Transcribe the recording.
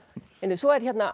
svo er hérna